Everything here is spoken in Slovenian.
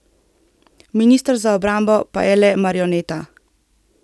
Minister za obrambo pa je le marioneta.